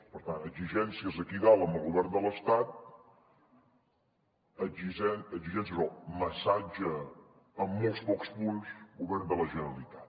per tant exigències aquí dalt amb el govern de l’estat i exigències o massatge amb molt pocs punts al govern de la generalitat